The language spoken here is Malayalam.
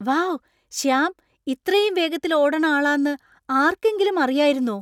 വൗ ! ശ്യാം ഇത്രയും വേഗത്തിൽ ഓടണ ആളാന്ന് ആർക്കെങ്കിലും അറിയായിരുന്നോ ?